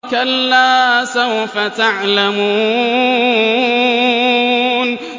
كَلَّا سَوْفَ تَعْلَمُونَ